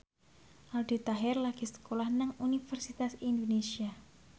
Aldi Taher lagi sekolah nang Universitas Indonesia